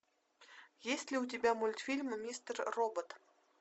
есть ли у тебя мультфильм мистер робот